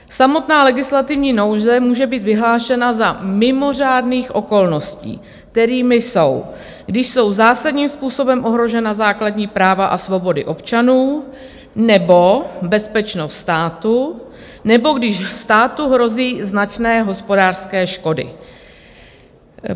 Samotná legislativní nouze může být vyhlášena za mimořádných okolností, kterými jsou, když jsou zásadním způsobem ohrožena základní práva a svobody občanů nebo bezpečnost státu, nebo když státu hrozí značné hospodářské škody.